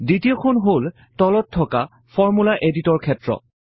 দ্বিতীয়খন হল তলত থকা ফৰ্মূলা এডিটৰ ক্ষেত্ৰ